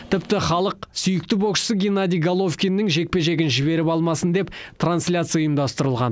тіпті халық сүйікті боксшысы геннадий головкиннің жекпе жегін жіберіп алмасын деп трансляция ұйымдастырылған